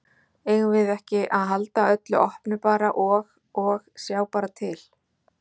Eigum við ekki að halda öllu opnu bara og, og sjá bara til?